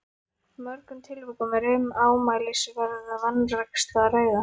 mörgum tilvikum er um ámælisverða vanrækslu að ræða.